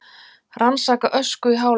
Rannsaka ösku í háloftunum